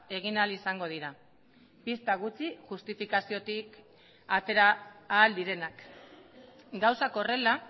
egin ahal izango dira pista gutxi justifikaziotik atera ahal direnak gauzak horrela